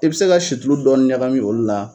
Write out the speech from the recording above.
I bi se ka situlu dɔɔni ɲakami olu la.